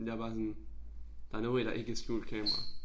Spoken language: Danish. Jeg bare sådan der no way der ikke er skjult kamera